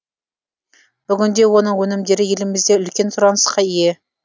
бүгінде оның өнімдері елімізде үлкен сұранысқа ие